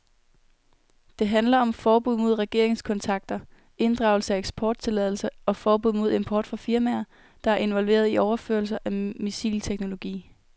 Det handler om forbud mod regeringskontakter, inddragelse af eksporttilladelser og forbud mod import fra firmaer, der er involveret i overførelser af missilteknologi.